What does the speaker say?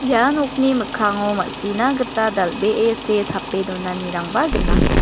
ia nokni mikkango ma·sina gita dal·bee see tape donanirangba gnang.